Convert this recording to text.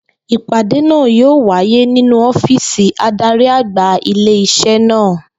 Ìpàdé náà yóò wáyé nínú ó̩fíìsì adarí-àgbà ilé is̩é̩ náà